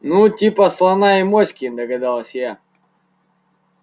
ну типа слона и моськи догадалась я